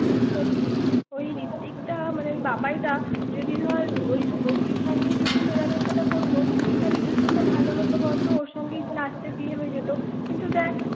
সত্যি ওই ঋত্বিক দা মানে বাবাই দা যদি ধর ওই শুভ শ্রীর সঙ্গেই যদি মেলামেশাটা করত তাহলে কি সুন্দর ভালো হত বলতো ওর সঙ্গে লাস্টে বিয়ে হয়ে যেত কিন্তু দেখ ৷